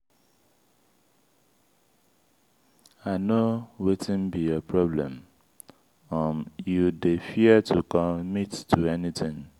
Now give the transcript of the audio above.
i no wetin be your problem. um you dey fear to commit to anything.